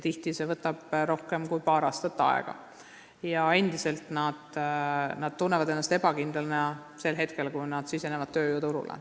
Tihti võtab see rohkem kui paar aastat aega ja noored tunnevad ennast endiselt ebakindlana ka sel hetkel, kui nad sisenevad tööjõuturule.